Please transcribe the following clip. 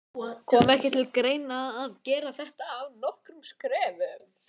Kom ekki til greina að gera þetta í nokkrum skrefum?